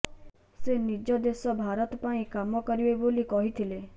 ସେ ନିଜ ଦେଶ ଭାରତ ପାଇଁ କାମ କରିବେ ବୋଲି କହିଥିଲେ